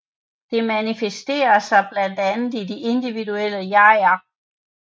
Det manifesterer sig blandt andet i de individuelle jeger